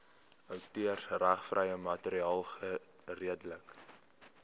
outeursregvrye materiaal geredelik